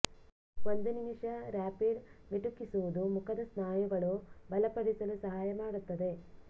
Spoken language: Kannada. ಒಂದು ನಿಮಿಷ ರಾಪಿಡ್ ಮಿಟುಕಿಸುವುದು ಮುಖದ ಸ್ನಾಯುಗಳು ಬಲಪಡಿಸಲು ಸಹಾಯ ಮಾಡುತ್ತದೆ